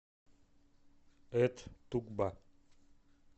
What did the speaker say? эт тукба